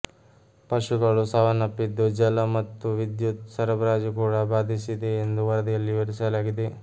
ಪಶುಗಳು ಸಾವನ್ನಪ್ಪಿದ್ದು ಜಲ ಮತ್ತು ವಿದ್ಯುತ್ ಸರಬರಾಜು ಕೂಡಾ ಭಾದಿಸಿದೆ ಎಂದು ವರದಿಯಲ್ಲಿ ವಿವರಿಸಲಾಗಿದೆ